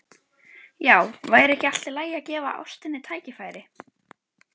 Já, væri ekki allt í lagi að gefa ástinni tækifæri?